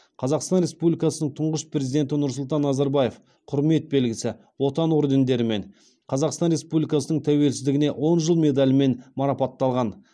қазақстан республикасының тұңғыш президенті нұрсұлтан назарбаев құрмет белгісі отан ордендерімен қазақстан республикасының тәуелсіздігіне он жыл медалімен марапатталған